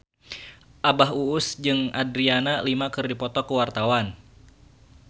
Abah Us Us jeung Adriana Lima keur dipoto ku wartawan